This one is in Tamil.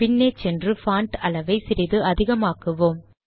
பின்னே சென்று பான்ட் அளவை சிறிது அதிகமாக்குவோம்